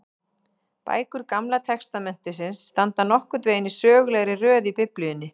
Bækur Gamla testamentisins standa nokkurn veginn í sögulegri röð í Biblíunni.